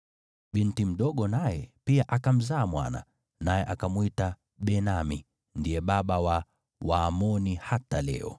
Binti mdogo naye pia akamzaa mwana, naye akamwita Benami; ndiye baba wa Waamoni hata leo.